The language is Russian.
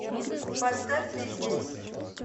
поставь ты здесь